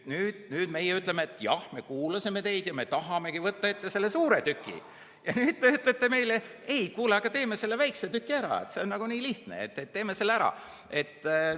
Nüüd meie ütleme, et jah, me kuulasime teid ja me tahamegi võtta ette selle suure tüki, ja teie ütlete meile, et ei, kuule, aga teeme selle väikse tüki ära, see on nii lihtne, teeme selle ära.